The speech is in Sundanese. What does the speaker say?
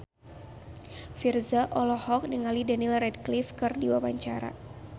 Virzha olohok ningali Daniel Radcliffe keur diwawancara